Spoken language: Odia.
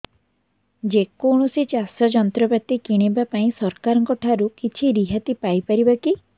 ଯେ କୌଣସି ଚାଷ ଯନ୍ତ୍ରପାତି କିଣିବା ପାଇଁ ସରକାରଙ୍କ ଠାରୁ କିଛି ରିହାତି ପାଇ ପାରିବା କି